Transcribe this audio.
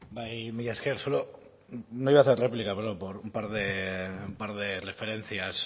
bai mila esker solo no iba a hacer réplica pero por un par de referencias